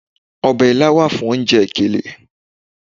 Ọbẹ̀ ilá wà fún oúnjẹ ìkèlè.